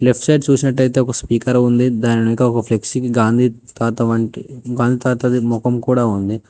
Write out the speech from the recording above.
Left side చూసినట్టయితే ఒక speaker ఉంది దాని వెనక ఒక ఫ్లెక్సీకి గాంధీ తాతది మొకం కూడా ఉంది.